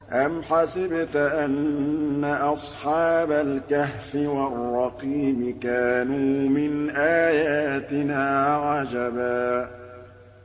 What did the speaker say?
أَمْ حَسِبْتَ أَنَّ أَصْحَابَ الْكَهْفِ وَالرَّقِيمِ كَانُوا مِنْ آيَاتِنَا عَجَبًا